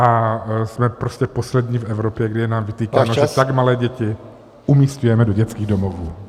A jsme prostě poslední v Evropě, kdy je nám vytýkáno, že tak malé děti umísťujeme do dětských domovů.